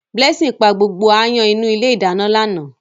Blessing pa gbogbo áyán inú ilé ìdáná lánàá.